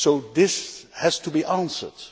This has to be answered.